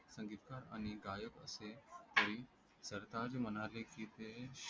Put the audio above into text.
संगीतकार आणि गायक असे तरी सरताज म्हणाले की ते